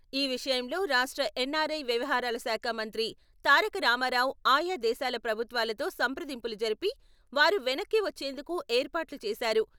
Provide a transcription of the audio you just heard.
ఈ విషయంలో రాష్ట్ర ఎన్ఆర్ఐ వ్యవహారాల శాఖ మంత్రి తారకరామారావు ఆయా దేశాల ప్రభుత్వాలతో సంప్రదింపులు జరిపి వారు వెనక్కి వచ్చేందుకు ఏర్పాట్లు చేసారు.